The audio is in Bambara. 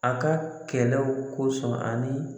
An ka kɛlɛw kosɔn ani.